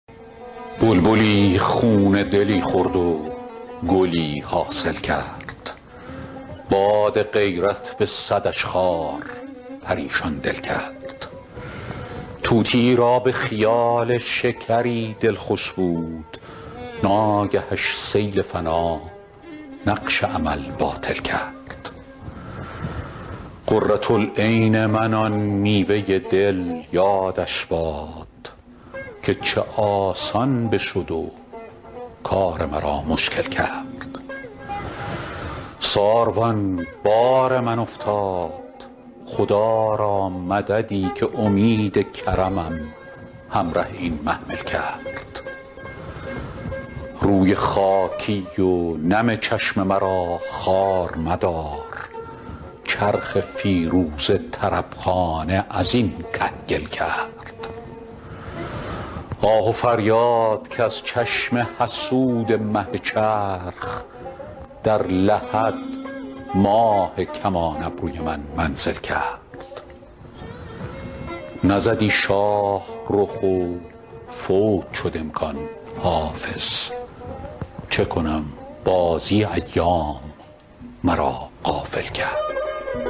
بلبلی خون دلی خورد و گلی حاصل کرد باد غیرت به صدش خار پریشان دل کرد طوطیی را به خیال شکری دل خوش بود ناگهش سیل فنا نقش امل باطل کرد قرة العین من آن میوه دل یادش باد که چه آسان بشد و کار مرا مشکل کرد ساروان بار من افتاد خدا را مددی که امید کرمم همره این محمل کرد روی خاکی و نم چشم مرا خوار مدار چرخ فیروزه طرب خانه از این کهگل کرد آه و فریاد که از چشم حسود مه چرخ در لحد ماه کمان ابروی من منزل کرد نزدی شاه رخ و فوت شد امکان حافظ چه کنم بازی ایام مرا غافل کرد